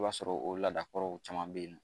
I b'a sɔrɔ o ladakɔrɔw caman bɛ yen nɔ